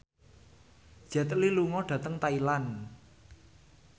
Jet Li lunga dhateng Thailand